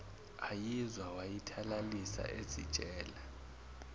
ayizwa wayithalalisa ezitshela